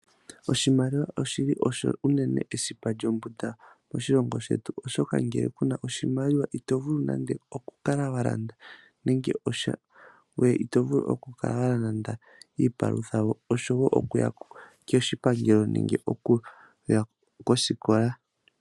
Oshimaliwa oshi li osho unene esipa lyombunda moshilongo shetu oshoka ngele kuna oshimaliwa ito vulu okukaka walanda nande iipalutha, okuya koshipangelo nenge kosikola.